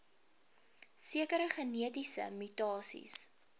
sekere genetiese mutasies